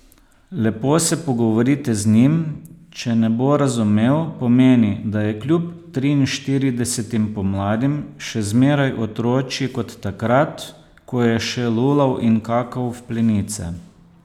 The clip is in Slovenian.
Lepo se pogovorite z njim, če ne bo razumel, pomeni, da je kljub triinštiridesetim pomladim še zmeraj otročji kot takrat, ko je še lulal in kakal v plenice.